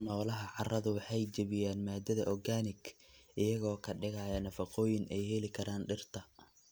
Noolaha carradu waxa ay jebiyaan maadada organic, iyaga oo ka dhigaya nafaqooyin ay heli karaan dhirta.